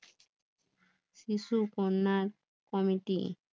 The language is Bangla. শিশু কন্যা কমিটির